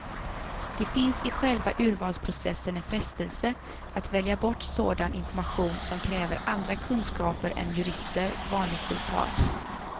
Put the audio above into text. Det finns i själva urvalsprocessen en frestelse att välja bort sådan information som kräver andra kunskaper än jurister vanligtvis har.